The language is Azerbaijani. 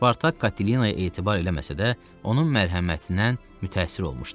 Spartak Katelinaya etibar eləməsə də, onun mərhəmətindən mütəəssir olmuşdu.